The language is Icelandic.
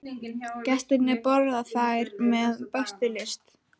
Gestirnir borða þær með bestu lyst.